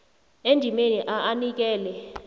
endimeni a anikele